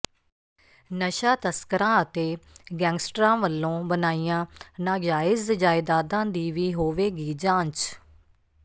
ਨਸ਼ਾ ਤਸਕਰਾਂ ਅਤੇ ਗੈਂਗਸਟਰਾਂ ਵੱਲੋਂ ਬਣਾਈਆਂ ਨਾਜਾਇਜ਼ ਜਾਇਦਾਦਾਂ ਦੀ ਵੀ ਹੋਵੇਗੀ ਜਾਂਚ